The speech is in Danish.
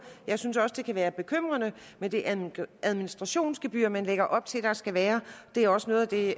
jeg synes også det kan være bekymrende med det administrationsgebyr man lægger op til at der skal være det er også noget af det